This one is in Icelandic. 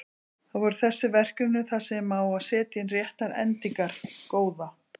Það voru þessi verkefni þar sem á að setja inn réttar endingar: Góða.